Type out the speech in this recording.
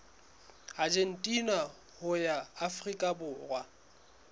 argentina ho ya afrika borwa